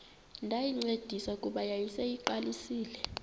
ndayincedisa kuba yayiseyiqalisile